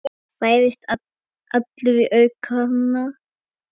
Færðist allur í aukana.